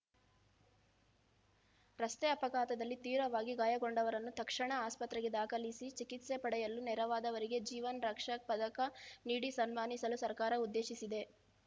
ರಸ್ತೆ ಅಪಘಾತದಲ್ಲಿ ತೀವ್ರವಾಗಿ ಗಾಯಗೊಂಡವರನ್ನು ತಕ್ಷಣ ಆಸ್ಪತ್ರೆಗೆ ದಾಖಲಿಸಿ ಚಿಕಿತ್ಸೆ ಪಡೆಯಲು ನೆರವಾದವರಿಗೆ ಜೀವನ್‌ ರಕ್ಷಕ್‌ ಪದಕ ನೀಡಿ ಸನ್ಮಾನಿಸಲು ಸರ್ಕಾರ ಉದ್ದೇಶಿಸಿದೆ